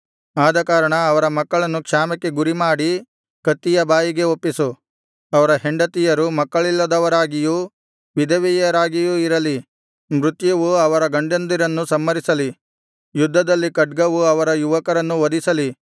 ಆದಕಾರಣ ಅವರ ಮಕ್ಕಳನ್ನು ಕ್ಷಾಮಕ್ಕೆ ಗುರಿಮಾಡಿ ಕತ್ತಿಯ ಬಾಯಿಗೆ ಒಪ್ಪಿಸು ಅವರ ಹೆಂಡತಿಯರು ಮಕ್ಕಳ್ಳಿಲ್ಲದವರಾಗಿಯೂ ವಿಧವೆಯರಾಗಿಯೂ ಇರಲಿ ಮೃತ್ಯುವು ಅವರ ಗಂಡಂದಿರನ್ನು ಸಂಹರಿಸಲಿ ಯುದ್ಧದಲ್ಲಿ ಖಡ್ಗವು ಅವರ ಯುವಕರನ್ನು ವಧಿಸಲಿ